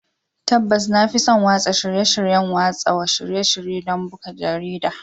Tabbas, na fi son watsa shirye-shiryen watsa shirye-shirye don buga jarida.